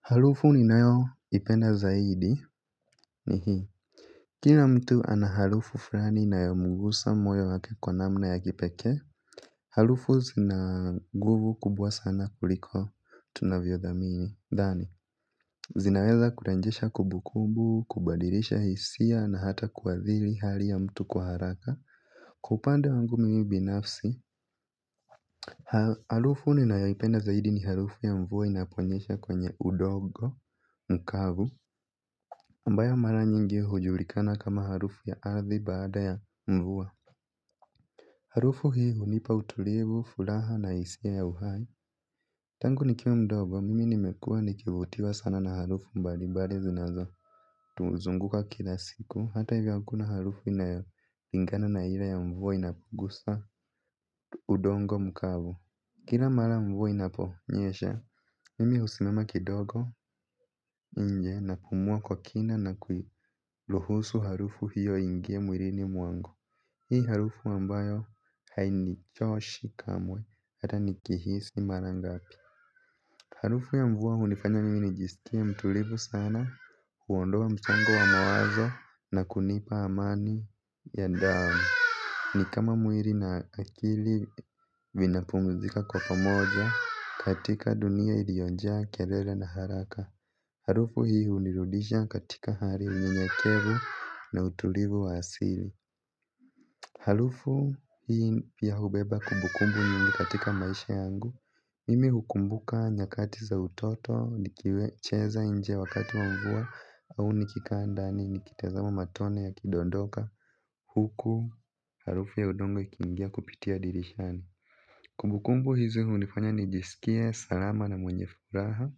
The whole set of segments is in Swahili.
Harufu ninayoipenda zaidi ni hii, kila mtu ana harufu fulani inayomgusa moyo wake kwa namna ya kipekee. Harufu zina nguvu kubwa sana kuliko tunavyodhani. Zinaweza kurenjesha kumbukumbu, kubadilisha hisia na hata kuadhiri hali ya mtu kwa haraka. Kwa upande wangu mimi binafsi, harufu ninayoipenda zaidi ni harufu ya mvua inaponyesha kwenye udogo mkavu. Ambayo mara nyingi hujulikana kama harufu ya ardhi baada ya mvua. Harufu hii hunipa utulivu, furaha na hisia ya uhai. Tangu nikiwa mdogo, mimi nimekuwa nikivutiwa sana na harufu mbali mbali zinazotuzunguka kila siku. Hata hivyo hakuna harufu inayolingana na ila ya mvua inapogusa udogo mkavu. Kila mara mvua inaponyesha, mimi husimama kidogo nje na kupumua kwa kina na kuiruhusu harufu hiyo iingie mwilini mwangu. Hii ni harufu ambayo hainichoshi kamwe hata nikihisi mara ngapi. Harufu ya mvua hunifanya mimi nijisikie mtulivu sana, huondoa msongo wa mawazo na kunipa amani ya ndani. Ni kama mwili na akili vinapumzika kwa pamoja, katika dunia iliyojaa kelele na haraka. Harufu hii hunirudisha katika hali unyenyekevu na utulivu wa asili. Harufu hii pia hubeba kubukumbu nyingi katika maisha yangu, mimi hukumbuka nyakati za utoto nikicheza nje wakati wa mvua, au nikikaa ndani nikitazama matone yakidondoka. Huku harufu ya udogo ikiingia kupitia dirishani. Kubukumbu hizi hunifanya nijisikie salama na mwenye furaha,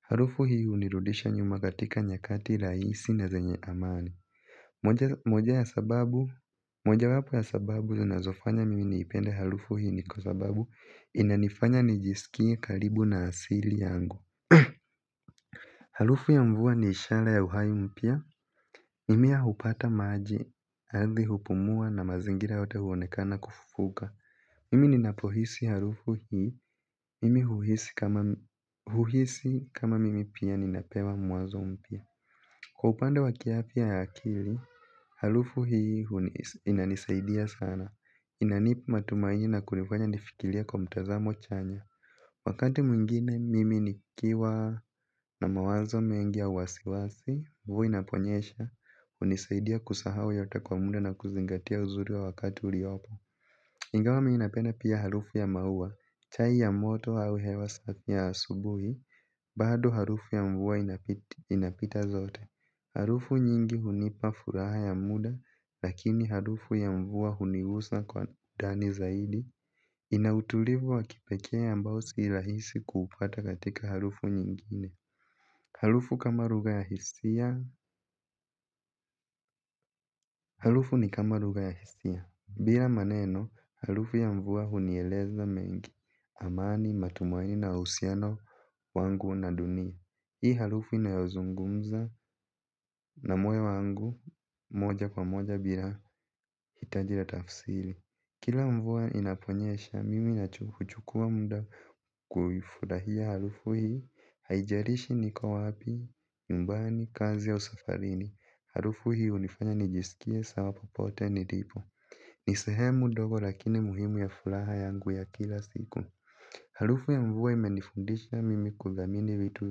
harufu hii hunirudisha nyuma katika nyakati rahisi na zenye amani. Mojawapo ya sababu zinazofanya mimi niipende harufu hii ni kwa sababu inanifanya nijisikie karibu na asili yangu. Harufu ya mvua ni ishara ya uhai mpya. Mimea hupata maji, ardhi hupumua na mazingira yote huonekana kufufuka. Mimi ninapohisi harufu hii, mimi huhisi kama mimi pia ninapewa mwazo mpya. Kwa upande wa kiafya ya akili, harufu hii inanisaidia sana. Inanipa matumaini na kunifanya nifikilie kwa mtazamo chanya. Wakati mwingine, mimi nikiwa na mawazo mengi au wasiwasi, mvua inaponyesha, hunisaidia kusahau yote kwa muda na kuzingatia uzuri wa wakati uliopo. Ingawa mimi napena pia harufu ya maua, chai ya moto au hewa safi ya asubuhi, bado harufu ya mvua inapita zote. Harufu nyingi hunipa furaha ya muda, lakini harufu ya mvua hunigusa kwa ndani zaidi. Ina utulivu wa kipekee ambao si rahisi kuupata katika harufu nyingine. Harufu ni kama lugha ya hisia. Bila maneno, harufu ya mvua hunieleza mengi amani, matumaini na uhusiano wangu na dunia. Hii harufu inayozungumza na moyo wangu moja kwa moja bila hitaji la tafsiri. Kila mvua inaponyesha, mimi huchukua muda kuifurahia harufu hii. Haijalishi niko wapi, nyumbani, kazi au safarini. Harufu hii hunifanya nijisikie sawa popote nilipo. Ni sehemu ndogo lakini muhimu ya furaha yangu ya kila siku. Harufu ya mvua imenifundisha mimi kuthamini vitu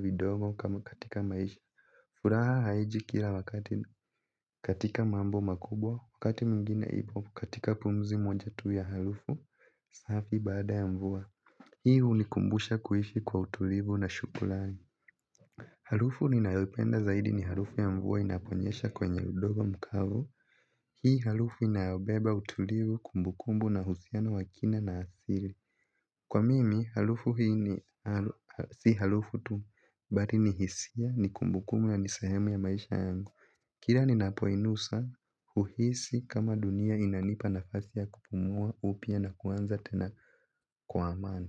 vidogo kama katika maisha. Furaha haiji kila wakati. Katika mambo makubwa. Wakati mwingine ipo katika pumzi moja tu ya harufu safi baada ya mvua. Hi hunikumbusha kuishi kwa utulivu na shukrani. Harufu ninayoipenda zaidi ni harufu ya mvua inaponyesha kwenye udogo mkavu. Hii harufu inayobeba utulivu, kumbukumbu na uhusiano wa kina na asili. Kwa mimi harufu hii ni si harufu tu, bali ni hisia, ni kumbukumbu na ni sehemu ya maisha yangu. Kila ninapoinusa uhisi kama dunia inanipa nafasi ya kupumua upya na kuanza tena kwa amani.